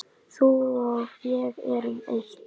Þú og ég erum eitt.